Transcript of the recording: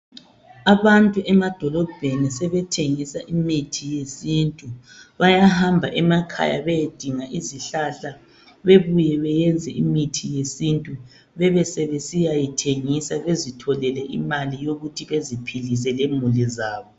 Abantu emadolobheni sebethengisa imithi yesintu. Bayahamba emakhaya beyedinga izihlahla bebuye beyenze imithi yesintu bebe sebesiyayithengisa bezitholele imali yokuthi beziphilise lemuli zabo.